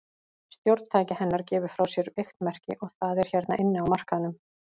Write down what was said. Stjórntæki hennar gefur frá sér veikt merki, og það er hérna inni á markaðnum.